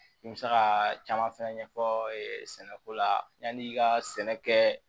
I bɛ se ka caman fɛnɛ ɲɛfɔ sɛnɛko la yanni i ka sɛnɛ kɛ